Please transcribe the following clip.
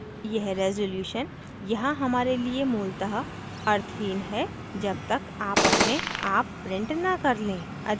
यह resolution यहाँ हमारे लिए मूलतः अर्थहीन है जब तक आप अपने आप print न कर लें